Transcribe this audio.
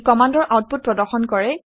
ই কমাণ্ডৰ আউটপুট প্ৰদৰ্শন কৰে